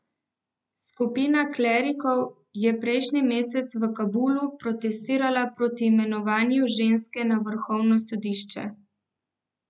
Skupina klerikov je prejšnji mesec v Kabulu protestirala proti imenovanju ženske na vrhovno sodišče.